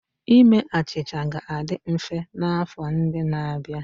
Ime achịcha ga-adị mfe n'afọ ndị na-abịa.